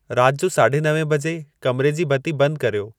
राति जो साढे नवें बजे कमिरे जी बती बंदि कर्यो